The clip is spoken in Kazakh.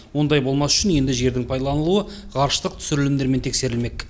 ондай болмас үшін енді жердің пайдаланылуы ғарыштық түсірілімдермен тексерілмек